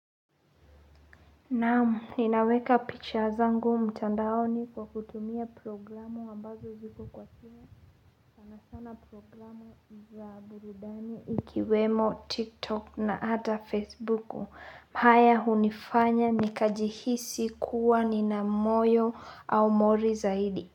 Naam ninaweka picha zangu mtandaoni kwa kutumia programu ambazo ziko kwa simu sana sana programu za buridani ikiwemo tiktok na ata facebook haya unifanya nikajihisi kuwa nina moyo au mori zaidi.